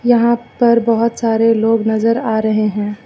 यहां पर बहुत सारे लोग नजर आ रहे हैं।